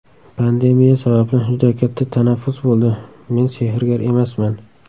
Pandemiya sababli juda katta tanaffus bo‘ldi, men sehrgar emasman.